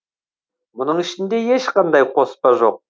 мұның ішінде ешқандай қоспа жоқ